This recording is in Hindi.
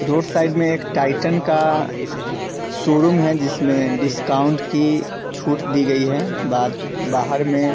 रोड साइड में एक टाइटन का शोरूम है जिसमें डिस्काउंट की छुट दी गई है बाद बाहर में --